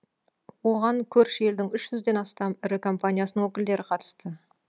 оған көрші елдің үш жүзден астам ірі компаниясының өкілдері қатысты